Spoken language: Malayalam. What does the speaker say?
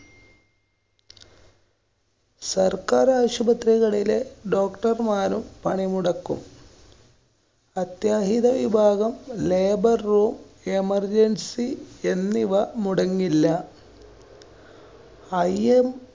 സര്‍ക്കാര്‍ ആശുപത്രികളിലെ Doctor മാരും പണിമുടക്കും. അത്യാഹിതവിഭാഗം, labour room, emergency എന്നിവ മുടങ്ങില്ല. im